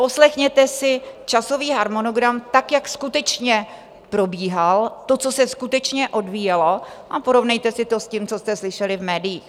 Poslechněte si časový harmonogram tak, jak skutečně probíhal, to, co se skutečně odvíjelo, a porovnejte si to s tím, co jste slyšeli v médiích.